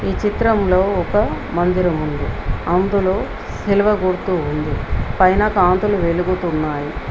ఈ చిత్రంలో ఒక మందిరం ఉంది అందులో సిలువ గుర్తు ఉంది పైన కాంతులు వెలుగుతున్నాయి.